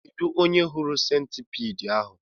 Kedụ onye hụrụ sentipiid ahụ?